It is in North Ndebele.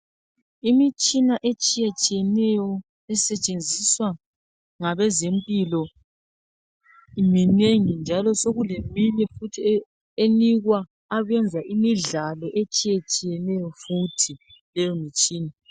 Imtshina etshiyetshiyeneyo esetshenziswa ngabezempilo iminengi njalo sokuleminye futhi enikwa abenza imidlalo etshiyetshiyeneyo futhi leyo mitshina.